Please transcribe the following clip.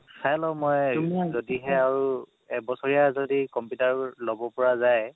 চাই লওঁ মই যদিহে আৰু এবছৰীয়া যদি computer ল'ব পৰা যায়